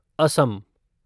Assam